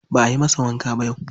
Ba ayi masa wanka ba yau.